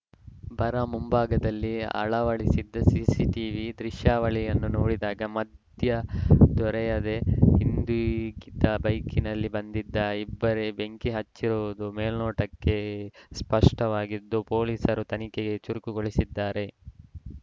ಬಾರ ಮುಂಭಾಗದಲ್ಲಿ ಅಳವಡಿಸಿದ್ದ ಸಿಸಿಟೀವಿ ದೃಶ್ಯಾವಳಿಯನ್ನು ನೋಡಿದಾಗ ಮಥ್ಯ್ ದೊರೆಯದೇ ಹಿಂದುಗಿದ್ದ ಬೈಕ್‌ನಲ್ಲಿ ಬಂದಿದ್ದ ಇಬ್ಬರೇ ಬೆಂಕಿ ಹಚ್ಚಿರುವುದು ಮೇಲ್ನೋಟಕ್ಕೆ ಸ್ಪಷ್ಟವಾಗಿದ್ದು ಪೊಲೀಸರು ತನಿಖೆಗೆ ಚುರುಕುಗೊಳಿಸಿದ್ದಾರೆ